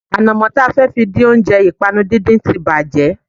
Ànàmó ta fẹ́ fi dín oúnjẹ ìpànu díndín tí bàjé